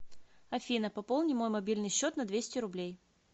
афина пополни мой мобильный счет на двести рублей